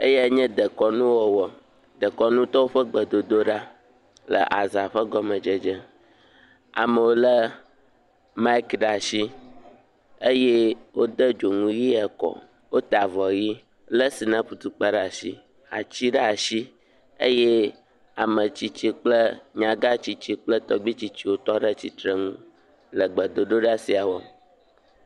Eyae nye dekɔnuwɔwɔ, dekɔnutɔwo ƒe gbedodoɖa le aza ƒe gɔmedzedze, amewo lé maiki ɖe asi eye wodo dzonu ʋi ekɔ wota avɔ ʋi lé sinapu tukpa ɖe asi, ati ɖe asi eye ametsitsi kple nyagã tsiotsi kple tɔgbitsitsi wotɔ ɖe tsitre nu le gbododoɖa sia wɔm.